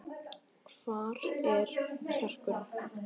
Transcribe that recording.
Hvar er kjarkurinn?